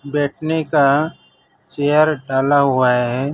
बैठने का चेयर डाला हुआ है।